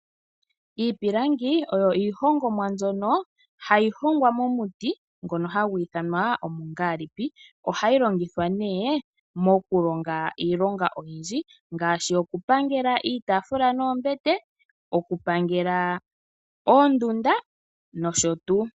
Iipilangi oyo iihongomwa mbyono hayi hongwa momuti ngono hagu ithanwa omungalipi ohayi longithwa mokulonga iilonga oyindji ngaashi okupangela iitafula noombete okupangela oondunda nosho tuu.